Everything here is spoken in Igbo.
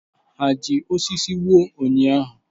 Ha ji osisi wuo ụnyaahụ?